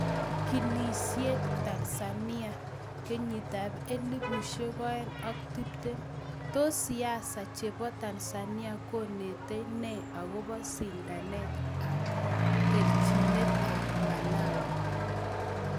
kinisiet Tanzania 2020: tos siasa chepo Tanzania konetek nei akopo sindanet ap terchinet ap malawi